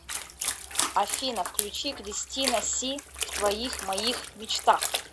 афина включи кристина си в твоих моих мечтах